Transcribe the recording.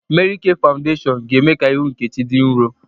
Mary K fawudeshiọn ga-eme ka ihu Nkechi dị nrọ